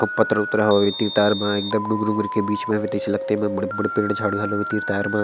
पत्र उत्र हवे तीर - तार मे एकदम डुन्गुरु ऊन्गुरु के बीच मे ऐसे लगते बड़े बड़े पेड़ झाड़ हवे तीरतार म--